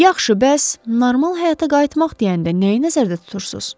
Yaxşı, bəs normal həyata qayıtmaq deyəndə nəyi nəzərdə tutursuz?